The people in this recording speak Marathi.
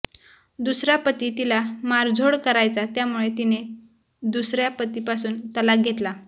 दुसरा पती तिला मारझोड करायचा त्यामुळे तिने दुसऱ्या पतीपासून तलाक घेतला